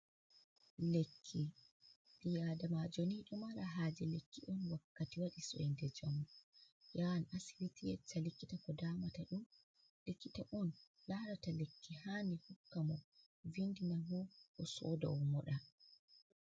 Lekki ɓi Adamajo ni ɗo mara haje lekki on wakkati waɗi soinde njamu. O yahan asibiti o yecca likita ko damata mo. Ɗum likita on larata lekki handi hokka mo. Vindi na mo o yaha o soda o moɗa.